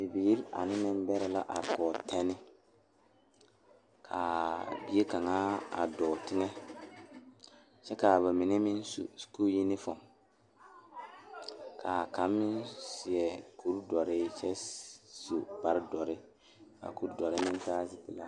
Bibiiri mine pare la ka yiri kaŋa are a be kyɛ kaa bipole a de gangaare yeere ba kɔkɔre poɔ kyɛ kaa kaŋa seɛ kuri wogi kaa gbɛɛ e peɛrɛ peeɛ kyɛ ko'o de bonziɛ le o zu.